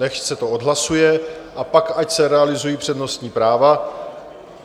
Nechť se to odhlasuje a pak ať se realizují přednostní práva.